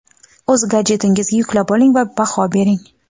o‘z gadjetingizga yuklab oling va baho bering.